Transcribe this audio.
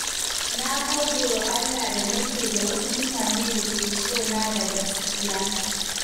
Na gode wa Allah da nake da wasu mutane da ke sona da gaskiya.